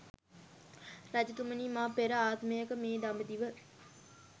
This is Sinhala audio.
රජතුමනි, මා පෙර ආත්මයක මේ දඹදිව